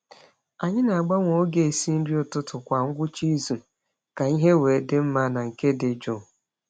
Anyị na-agbanwe oge esi nri ụtụtụ kwa ngwụcha izu ka ihe wee dị mma na nke dị jụụ.